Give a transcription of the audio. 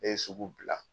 Ne ye sugu bila